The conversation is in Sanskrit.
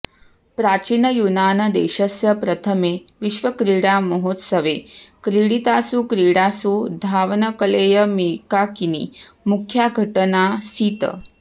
प्राचीनयूनानदेशस्य प्रथमे विश्वक्रीडामहोत्सवे क्रीडितासु क्रीडासु धावनकलेयमेकाकिनी मुख्या घटनाऽऽसीत्